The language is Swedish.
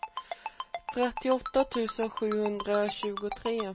trettioåtta tusen sjuhundratjugotre